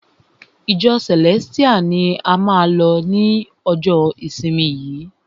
Ìjọ Celestial ni a máa lọ ni ọjọ ìsinmi yìí!